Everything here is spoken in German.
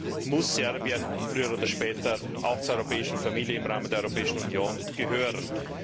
Daher muss Serbien früher oder später auch zur europäischen Familie im Rahmen der Europäischen Union gehören.